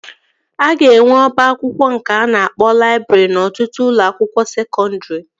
A ga-enwe ọba akwụkwọ nke a na-akpọ laịbrị n'ọtụtụ ụlọ akwụkwọ sekọndri